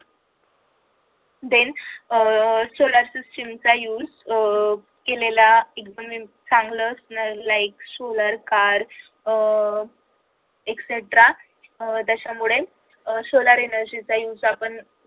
then uh solar system चा use uh केलेला एकूणच चांगलं like solar car uh extra त्याच्यामुळे solar energy चा use आपण